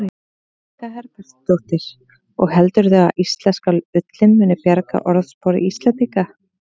Guðný Helga Herbertsdóttir: Og heldurðu að íslenska ullin muni bjarga orðspori Íslendinga?